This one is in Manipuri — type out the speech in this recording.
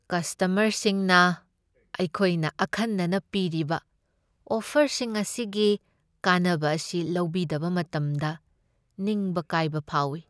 ꯀꯁꯇꯃꯔꯁꯤꯡꯅ ꯑꯩꯈꯣꯏꯅ ꯑꯈꯟꯅꯅ ꯄꯤꯔꯤꯕ ꯑꯣꯐꯔꯁꯤꯡ ꯑꯁꯤꯒꯤ ꯀꯥꯟꯅꯕ ꯑꯁꯤ ꯂꯧꯕꯤꯗꯕ ꯃꯇꯝꯗ ꯅꯤꯡꯕ ꯀꯥꯏꯕ ꯐꯥꯎꯢ ꯫